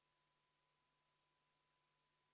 Kell on 12.42, hääletamiseks on aega 30 minutit.